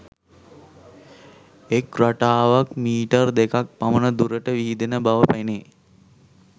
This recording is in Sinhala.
එක් රටාවක් මීටර් දෙකක් පමණ දුරට විහිදෙන බව පෙනේ